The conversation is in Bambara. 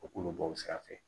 O k'olu bɔ o sira fɛ